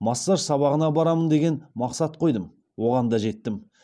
массаж сабағына барамын деген мақсат қойдым оған да жеттім